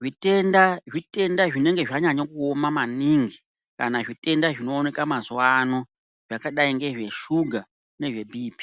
Zvitenda zvitenda zvinenge zvanyanya kuoma maningi kana zvitenda zvinoneka mazuva avo zvakadai nezvesuga nezvebp.